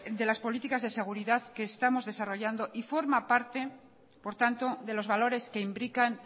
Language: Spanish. de las políticas de seguridad que estamos desarrollando y forma parte por tanto de los valores que imbrican